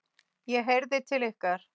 ég heyrði til ykkar!